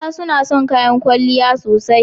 Mata suna son kayan kwalliya sosai.